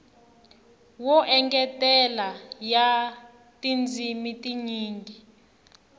yo engetela ya tindzimi tinyingi